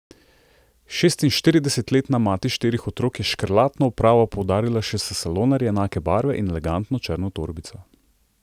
Šestinštiridesetletna mati štirih otrok je škrlatno opravo poudarila še s salonarji enake barve in elegantno črno torbico.